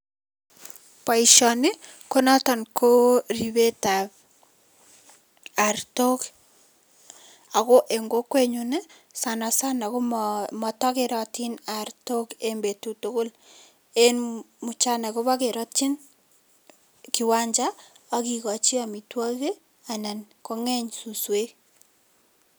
Boisioni konoto ko ripetab artok ako eng kokwenyun sanasana komata kerotin artok eng betut tugul, eng mchana kobekeratyin kiwanja ak kikochi amitwokik anan kongeny suswek.